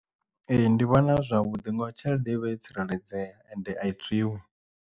Ee ndi vhona zwi zwavhuḓi ngauri tshelede ivha yo tsireledzea ende a i tswiwi.